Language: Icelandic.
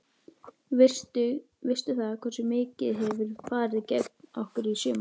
Veistu það, hversu mikið hefur farið gegn okkur í sumar?